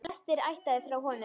Flestir ættaðir frá honum.